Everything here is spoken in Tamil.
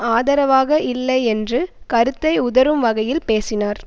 ஆதரவாக இல்லை என்று கருத்தை உதறும் வகையில் பேசினார்